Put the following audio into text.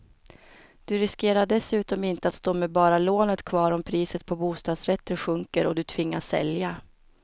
Du riskerar dessutom inte att stå med bara lånet kvar om priset på bostadsrätter sjunker och du tvingas sälja.